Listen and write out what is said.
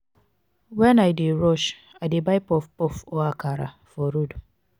wen i dey rush i dey buy puff puff or akara for road.